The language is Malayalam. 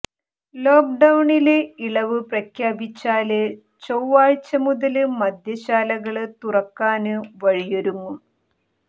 ലോക്ഡൌണില് ഇളവ് പ്രഖ്യാപിച്ചാല് ചെവ്വാഴ്ച മുതല് മദ്യശാലകള് തുറക്കാന് വഴിയൊരുങ്ങും